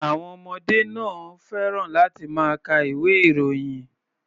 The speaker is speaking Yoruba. Àwọn ọmọdé náà ò fẹ́ràn láti máa ka ìwé-ìròyìn.